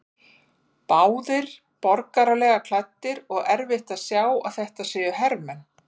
Báðir borgaralega klæddir og erfitt að sjá að þetta séu hermenn.